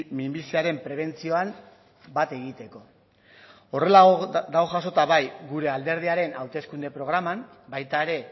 minbiziaren prebentzioan bat egiteko horrela dago jasota bai gure alderdiaren hauteskunde programan baita ere